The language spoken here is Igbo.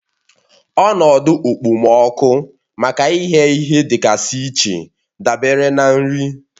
Ọnọdụ okpomọkụ maka ịghẹ ihe dịgasị iche dabere na nri